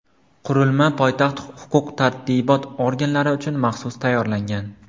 Qurilma poytaxt huquq-tartibot organlari uchun maxsus tayyorlangan.